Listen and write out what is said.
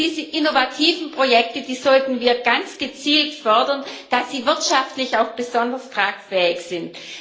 Und diese innovativen Projekte sollten wir ganz gezielt fördern, damit sie wirtschaftlich auch besonders tragfähig sind.